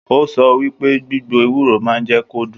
O sọ wípé gbigbo ewúro máà n jẹ kó dún.